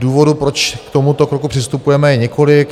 Důvodů, proč k tomuto kroku přistupujeme, je několik.